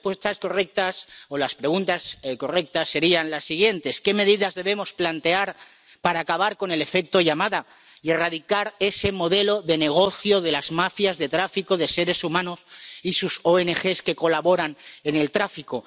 Las respuestas correctas o las preguntas correctas serían las siguientes ¿Qué medidas debemos plantear para acabar con el efecto llamada y erradicar ese modelo de negocio de las mafias de tráfico de seres humanos y sus ONG que colaboran en el tráfico?